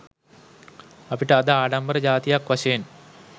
අපට අද ආඩම්බර ජාතියක් වශයෙන්